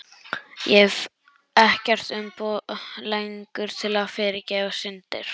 Ég hef ekkert umboð lengur til að fyrirgefa syndir.